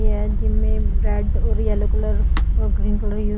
ये है जिम में रेड और येलो कलर और ग्रीन। Colour use --